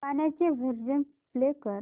गाण्याचे version play कर